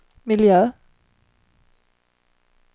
miljö